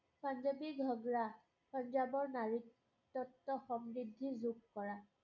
পাঞ্জাৱী ঘাগৰা পাঞ্জাৱৰ নাৰী তত্ব সমৃদ্ধি যোগ কৰা